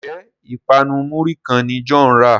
Njé ipanu muri kán ní John rà?